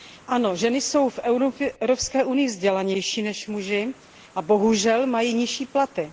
Ano, ženy jsou v Evropské unii vzdělanější než muži a bohužel mají nižší platy.